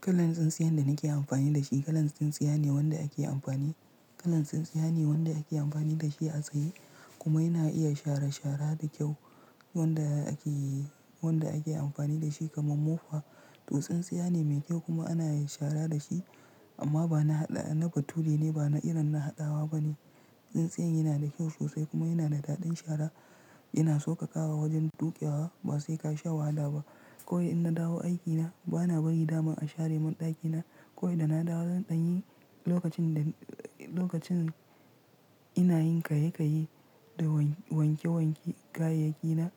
Kalan tsintsiyan da nake amfani da shi, kalan tsintsiya ne wanda ake amfani, kalan tsintsiya ne wanda ake amfani da shi a tsaye kuma yana iya shara shara da kyau. Wanda ake, wanda ake amfani da shi kamar mofa. Duk tsintsiya ne mai kyau kuma ana shara da shi amma ba na haɗa, na batuee ne ba na irin na haɗawa ba ne. Tsintsiyan yana da kyau sosai kuma yana da daɗin shara. Ina so ka ƙara wajen dukewa ba sai ka sha wahala ba. Kawai in na dawo aiki na, ba na bari daman a share min ɗakina. Kawai da na dawo zan ɗanyi lokacin da, lokacin ina yin kayyayyi da wanke wanke kayayyaki na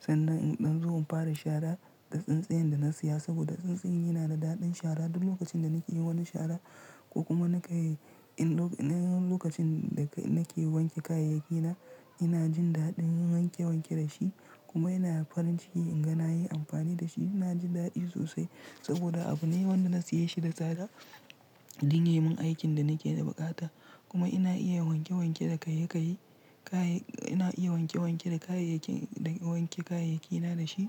sannan in ɗan zo in fara shara da tsintsiyan da na siya saboda tsintsiyan yana da daɗin shara duk lokacin da nake yin wani shara ko kuma nakan in lokacin da nake wanke kayayyaki na ina jin daɗin in wanke wanke da shi kuma yana farin ciki in ga na yi amfani da shi. Na ji daɗi sosai saboda abu ne wanda na siya shi da tsada duk yayi man aikin da nake da buƙata kuma ina iya wanke wanke da kayyayyi, kayi, ina iya wanke wanke da kayayyakin, wanke kayayyaki na da shi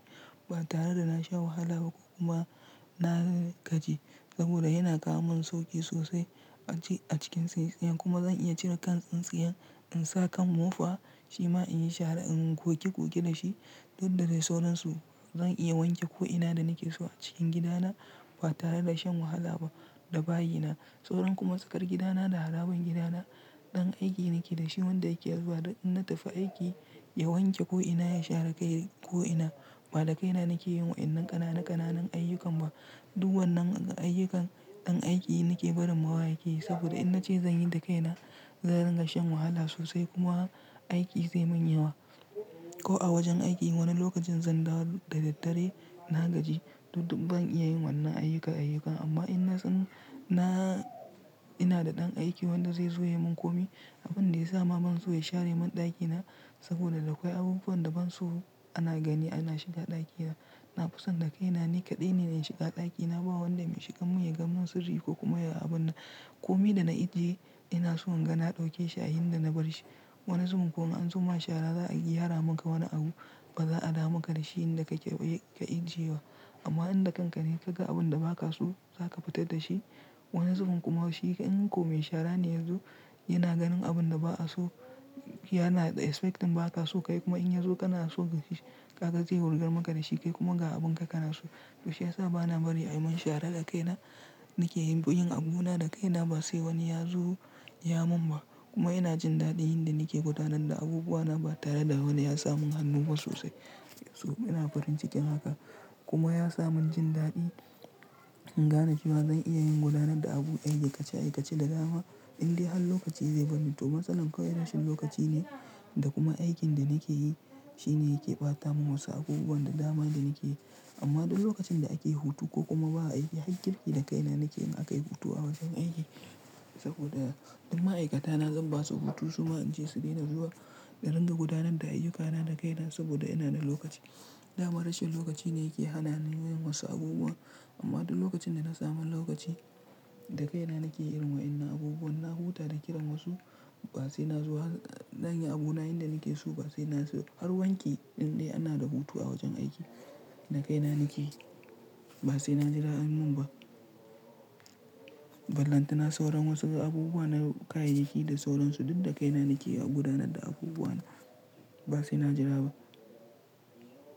ba tare da na sha wahala ba ko kuma na gaji saboda yana kawo min sauƙi sosai a cikin tsintsiyan kuma zan iya cire kan tsintsiyan in sa kan mofa, shima in yi shara in goge goge da shi. Duk da dai sauransu zan iya wanke ko'ina da nake so a cikin gida na ba tare da shan wahala ba da bayi na. Sauran kuma tsakar gidana da haraban gidana ɗan aiki nake da shi wanda yake zuwa duk in na tafi aiki ya wanke ko'ina, ya share kai ko'ina. Ba da kaina nake yin wa'innan ƙananan ƙananan ayyukan ba. Duk wannan ayyukan ɗan aiki nake barin ma wa yake saboda in na ce zan yi da kaina, zan rinka shan wahala sosai kuma aiki zai mun yawa. Ko a wajen aiki wani lokacin zan dawo da daddare na gaji. Duk ban iya yin wannan ayyuka ayyukan amma in na, na, ina da ɗan aiki wanda zai zo ya mun kome. Abun da ya sa ma ban so ya share min ɗakina saboda akwai abubuwan da ban so ana gani ana shiga ɗakina. Na fi son da kaina ni kaɗai ne in shiga ɗakina ba wanda mai shiga mun ya ga mun sirri ko kuma ya ga abun na. Kome da na ajiye ina so in ga na ɗauke shi a inda na bar shi. Wani zubinn kuma an zo ma shara za a iya hara maka wani abu ba za a damu ka da shi inda ka iya, ka ajiye wa. Amma inda kankane ka ga abun da ba ka so za ka fitar da shi. Wani zubinn kuma shi in ko mai shara ne yazo yana ganin abun da ba a so, yana expecting ba ka so kai kuma in ya zo kana so ka gani, ka gani zai wurgar maka da shi kai kuma ga abun ka kana so. To shi ya sa ba na bari a yi mun shara da kaina. Nake yin abuna da kaina ba sai wani ya zo ya mun ba kuma ina jin daɗin inda nake gudanar da abubuwa na ba tare da wani ya samu hannu ba sosai. So ina farin cikin haka kuma ya sa mun jin daɗi in gane kuma zan iya yin gudanar da abu ayyuka ce ayyuka ce da dama indai har lokaci zai bar ni. To masalan kawai rashin lokaci ne da kuma aikin da nake yi shine yake ɓata mun wasu abubuwan da dama inda nake yi. Amma duk lokacin da ake hutu ko kuma ba a aiki har girgi da kaina nake aka yi hutu a wajen aiki saboda duk ma'aikata na zan ba su hutu su ma in ce su daina zuwa da rinka gudanar da ayyukana da kaina saboda ina da lokaci. Dama rashin lokaci ne yake hana ni yin masu abubuwa amma duk lokacin da na samu lokaci da kaina nake yin wa'innan abubuwan. Na huta da kiran wasu ba sai na zo har zanyi abuna yanda nake so ba sai na zo. Har wanki indai ana da hutu a wajen aiki da kaina nake ba sai na jira an mun ba. Ballan tuna sauran wasu abubuwa na kayayyaki da sauransu duk da kaina nake gudanar da abubuwa na ba sai na jira ba.